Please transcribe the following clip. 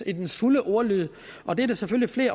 i dets fulde ordlyd og det er der selvfølgelig